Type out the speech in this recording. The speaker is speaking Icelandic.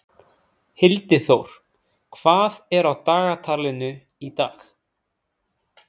Hildiþór, hvað er á dagatalinu í dag?